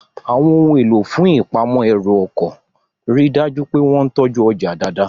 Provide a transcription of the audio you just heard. Àwọn ohun èlò fún ìpamọ́ ẹrù ọkọ̀ rí dájú pé wọ́n tọ́jú ọjà dáadáa